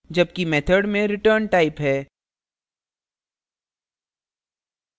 जबकि method में return type है